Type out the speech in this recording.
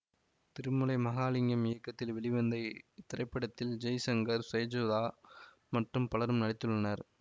திருமலை மகாலிங்கம் இயக்கத்தில் வெளிவந்த இத்திரைப்படத்தில் ஜெய்சங்கர் செஜுதா மற்றும் பலரும் நடித்துள்ளனர்